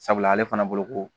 Sabula ale fana bolo ko